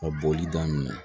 Ka boli daminɛ